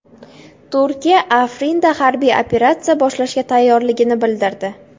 Turkiya Afrinda harbiy operatsiya boshlashga tayyorligini bildirdi.